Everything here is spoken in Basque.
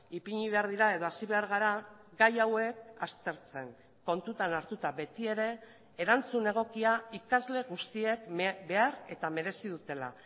ipini behar dira edo hasi behar gara gai hauek aztertzen kontutan hartuta betiere erantzun egokia ikasle guztiek behar eta merezi dutela